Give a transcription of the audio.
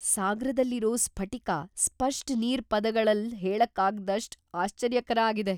ಸಾಗ್ರದಲ್ಲಿರೋ ಸ್ಫಟಿಕ ಸ್ಪಷ್ಟ್ ನೀರ್ ಪದಗಳಲ್ ಹೇಳಕಾಗ್ದಾಸ್ಟ್ ಆಶ್ಚರ್ಯಕರ ಆಗಿದೆ.!